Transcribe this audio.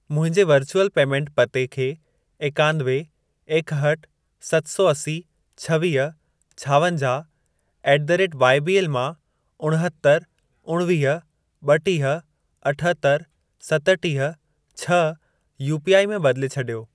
मुंहिंजे virtual payment पते खे एकानवे, एकहठि, सत सौ असी, छवीह, छावंजाहु ऍट द रेट वाईबीएल मां उणहतरि, उणवीह, ब॒टीह, अठहतरि, सतटीह, छह यूपीआई में बदिले छॾियो।